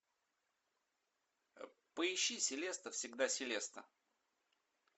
поищи селеста всегда селеста